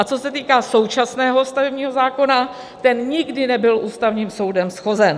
A co se týká současného stavebního zákona, ten nikdy nebyl Ústavním soudem shozen.